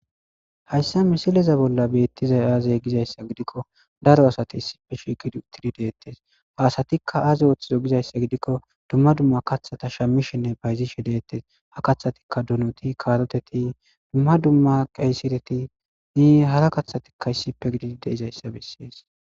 Hayssa misileza bolla beettiza aazey gizayssa gidikko daro asate issife shigid utidi deettes haasatikka aze ooththizo gizayssa gidikko dumma dumma kathata shammishenne bayzishe deettes ha kathatikka dunuti karoteti dumma dumma qeysireti ni hara kaththatikka issipe gidi de izayssa bessees.